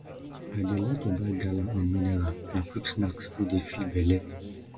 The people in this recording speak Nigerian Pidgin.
i dey like to buy gala and mineral na quick snack wey dey fill belle